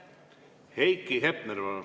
Heiki Hepner, palun!